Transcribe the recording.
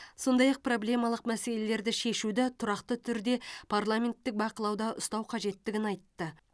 сондай ақ проблемалық мәселелерді шешуді тұрақты түрде парламенттік бақылауда ұстау қажеттігін айтты